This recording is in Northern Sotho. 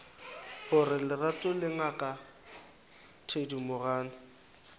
gore lerato le ngaka thedimogane